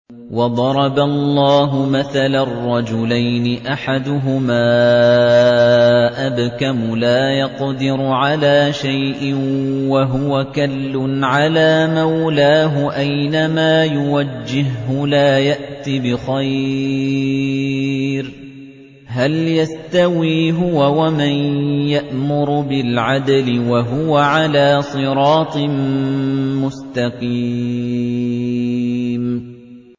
وَضَرَبَ اللَّهُ مَثَلًا رَّجُلَيْنِ أَحَدُهُمَا أَبْكَمُ لَا يَقْدِرُ عَلَىٰ شَيْءٍ وَهُوَ كَلٌّ عَلَىٰ مَوْلَاهُ أَيْنَمَا يُوَجِّههُّ لَا يَأْتِ بِخَيْرٍ ۖ هَلْ يَسْتَوِي هُوَ وَمَن يَأْمُرُ بِالْعَدْلِ ۙ وَهُوَ عَلَىٰ صِرَاطٍ مُّسْتَقِيمٍ